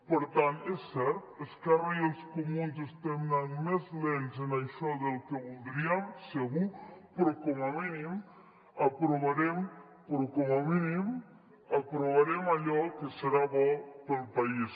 per tant és cert esquerra i els comuns estem anant més lents en això del que voldríem segur però com a mínim aprovarem allò que serà bo per al país